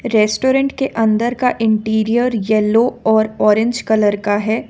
Restaurant के अंदर का इंटीरियर येलो और ऑरेंज कलर का है।